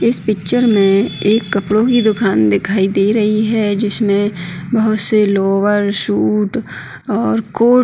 इस पिक्चर में एक कपडों की दुकान दिखाई दे रही है जिसमें बहोत से लोअर शूज और कोट --